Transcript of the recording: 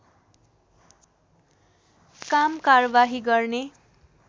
काम कारवाही गर्ने